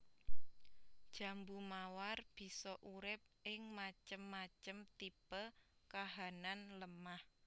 Jambu mawar bisa urip ing macem macem tipe kahanan lemah